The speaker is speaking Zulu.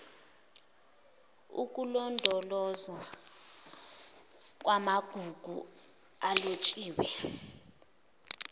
ukulondolozwa kwamagugu alotshiwe